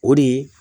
O de ye